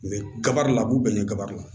kaba de la a b'u bɛn ni kaba la